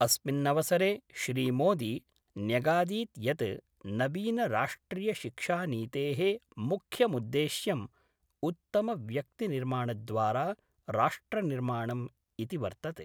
अस्मिन्नवसरे श्रीमोदी न्यगादीत् यत् नवीनराष्ट्रिय शिक्षानीतेः मुख्यमुद्देश्यं उत्तमव्यक्तिनिर्माणद्वारा राष्ट्रनिर्माणम् इति वर्तते।